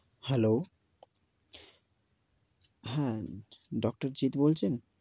Hello, হ্যাঁ doctor Jitu বলছেন?